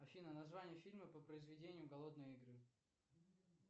афина название фильма по произведению голодные игры